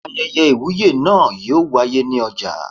Ayẹyẹ Ìwúyè náà yóò wáyé ní ọjà.